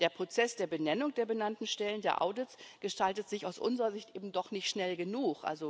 Der Prozess der Benennung der benannten Stellen, der Audit, gestaltet sich aus unserer Sicht eben doch nicht schnell genug.